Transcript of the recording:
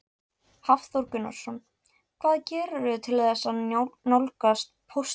Hafþór Gunnarsson: Hvað gerirðu til þess að nálgast póstinn?